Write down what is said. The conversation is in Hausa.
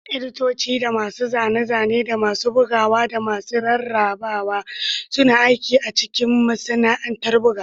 Editoci da masu zane-zane, da masu bugawa da masu rarrabawa, suna aiki a cikin masana'antar bugawa.